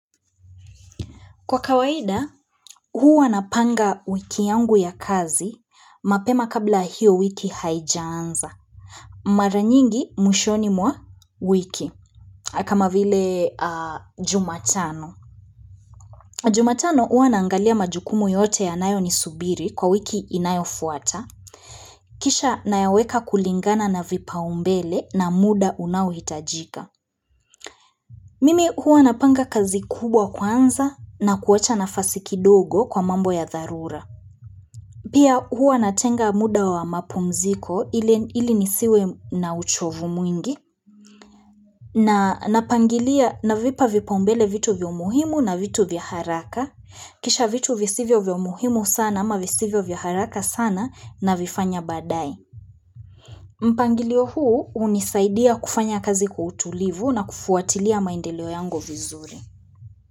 Kwa kawaida, huu napanga wiki yangu ya kazi, mapema kabla hiyo wiki haijaanza. Mara nyingi, mwishoni mwa wiki. Kama vile jumatano. Jumatano, huu nangalia majukumu yote ya nayo ni subiri kwa wiki inayofuata. Kisha, nayaweka kulingana na vipa umbele na muda unawitajika. Mimi huu napanga kazi kubwa kwanza na kuwacha nafasi kidogo kwa mambo ya dharura. Pia huwa natenga muda wa mapumziko ili nisiwe na uchovu mwingi na napangilia navipa vipaumbele vitu vilio muhimu na vitu vyaharaka. Kisha vitu visivyo vyomuhimu sana ama visivyo vyaharaka sana na vifanya badai. Mpangilio huu unisaidia kufanya kazi kwa tulivu na kufuatilia maendeleo yangu vizuri.